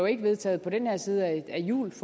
ikke vedtaget på den her side af jul